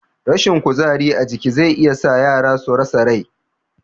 Rashin kuzari a jiki zai iya sa yara su rasa rai